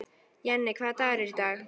Jenni, hvaða dagur er í dag?